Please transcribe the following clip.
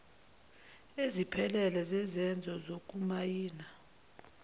eziphelele zezenzo zokumayina